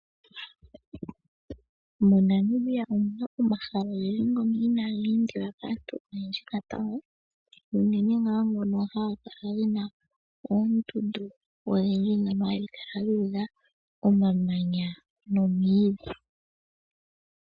MoNamibia omuna omahala ogendji ngoka inaaga endiwa kaantu natango, unene ngaa ngono haga kala gena oondundu odhindji dhono hadhi kala dhu udha omamanya nomwiidhi.